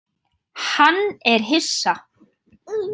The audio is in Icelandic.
Hann er hissa.